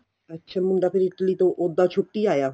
ਅੱਛਾ ਮੁੰਡਾ ਫ਼ਿਰ Italy ਤੋ ਉੱਦਾਂ ਛੁੱਟੀ ਆਇਆ ਹੋਣਾ